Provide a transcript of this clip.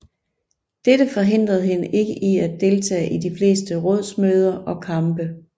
Dette forhindrede hende ikke i at deltage i de fleste rådsmøder og kampe